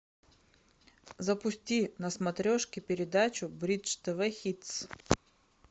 запусти на смотрешке передачу бридж тв хитс